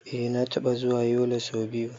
Eh na taɓa zuwa Yola so biyu.